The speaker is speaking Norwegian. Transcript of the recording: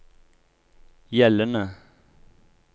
gjeldende